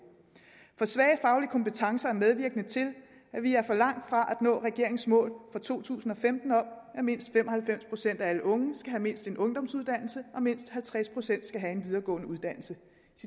for svage faglige kompetencer er medvirkende til at vi er for langt fra at nå regeringens mål for to tusind og femten om at mindst fem og halvfems procent af alle unge skal have mindst en ungdomsuddannelse og mindst halvtreds procent skal have en videregående uddannelse